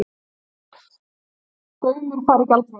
Gaumur fari í gjaldþrot